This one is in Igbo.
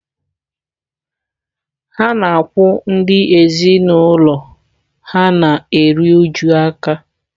Ha na-akwụ ndị ezinụlọ ha na-eru uju aka